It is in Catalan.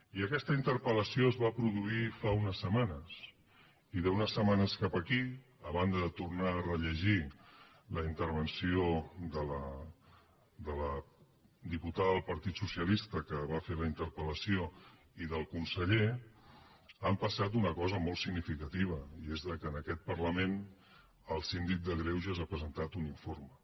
i aquesta interpel·lació es va produir fa unes setmanes i d’unes setmanes cap aquí a banda de tornar a rellegir la intervenció de la diputada del partit socialista que va fer la interpel·lació i del conseller ha passat una cosa molt significativa i és que en aquest parlament el síndic de greuges ha presentat un informe